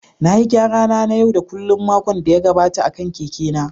Na yi gyara na na yau da kullun a makon da ya gabata akan keke na